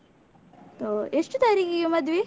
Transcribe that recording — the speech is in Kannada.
ಓಹ್, ಎಷ್ಟು ತಾರೀಖಿಗೆ ಮದುವೆ?